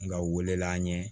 Nka u welela ɲɛ